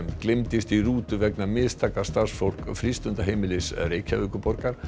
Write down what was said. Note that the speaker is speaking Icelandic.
gleymdist í rútu vegna mistaka starfsfólks frístundaheimilis Reykjavíkurborgar